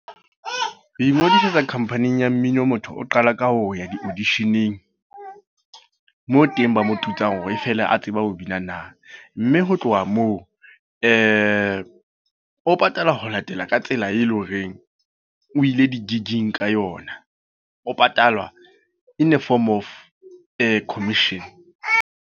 Ho ingodisetsa company-eng ya mmino, motho o qala ka ho ya di audition-eng. Moo teng ba mo tutsang hore e feela a tseba ho bina na. Mme ho tloha moo, o patalwa ho latela ka tsela e leng hore o ile di-gig-ing ka yona. O patalwa in a form of commission.